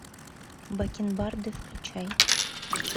бакенбарды включай